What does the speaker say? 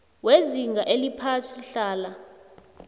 wezinga eliphasi hlala